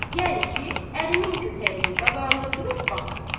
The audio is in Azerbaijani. Yəni ki, əlinin kötəyinin qabağında durub baxsın.